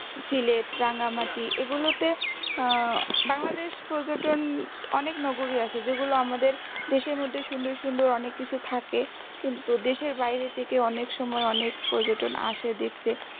ঝিলেট Rangamati এগুলোতে আহ বাংলাদেশ পর্যটন অনেক নগরি আছে যেগুলো আমাদের দেশের মধ্যে সুন্দর সুন্দর অনেক কিছু থাকে কিন্তু দেশের বাইরে থেকে অনেক সময় অনেক পর্যটন আসে দেখতে